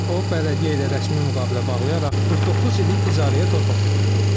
O bələdiyyə ilə rəsmi müqavilə bağlayaraq 49 illik icarəyə torpaq götürüb.